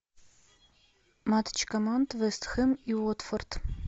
матч команд вест хэм и уотфорд